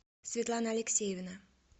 светлана алексеевна